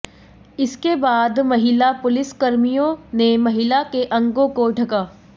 इसके बाद महिला पुलिसकर्मियों ने महिला के अंगों को ढका